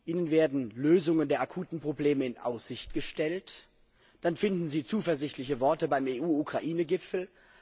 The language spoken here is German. Ihnen werden Lösungen der akuten Probleme in Aussicht gestellt, dann finden Sie zuversichtliche Worte beim EU Ukraine Gipfel.